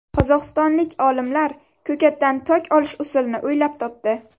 Qozog‘istonlik olimlar ko‘katdan tok olish usulini o‘ylab topdi.